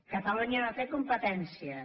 catalunya no té competències